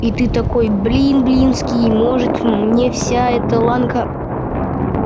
и ты такой блин блинский может мне вся эта ланка